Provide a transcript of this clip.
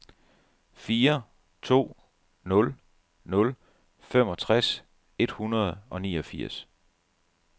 fire to nul nul femogtres et hundrede og niogfirs